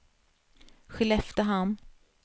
Skelleftehamn